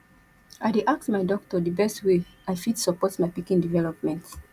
i dey ask my doctor di best way i fit support my pikin development